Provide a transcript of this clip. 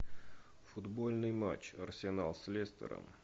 футбольный матч арсенал с лестером